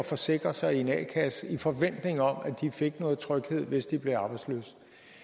at forsikre sig i en a kasse i forventning om at de fik noget tryghed hvis de blev arbejdsløse